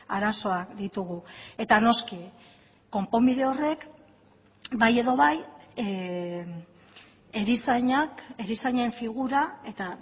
arazoak ditugu eta noski konponbide horrek bai edo bai erizainak erizainen figura eta